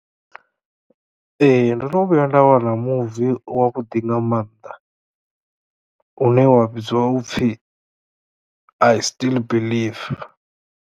Ee ndono vhuya nda wana muvi wa vhuḓi nga mannḓa une wa vhidzwa upfhi I still believe.